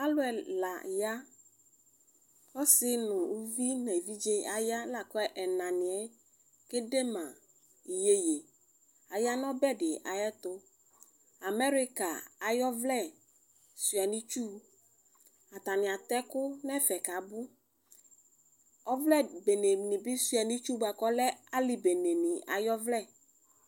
Alʋ ɛla ya asi nʋ ʋvi nʋ evidze aya lakʋ ɛnani yɛ kɛdema iyeye aya nʋ ɔbɛdi ayʋ ɛtʋ amerika ayʋ ɔvle suia nʋ itsʋ atani ata ɛkʋ nʋ ɛfɛ kʋ abʋ ɔvlɛ beneni bi suia nʋ itsʋ buakʋ alɛ alibeneni ayʋ ovlɛ